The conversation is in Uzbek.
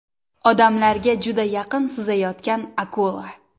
Odamlarga juda yaqin suzayotgan akula.